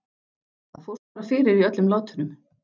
Það fórst bara fyrir í öllum látunum.